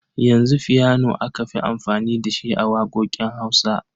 Yanzu fiyano aka fi amfani da shi a waƙoƙin Hausa.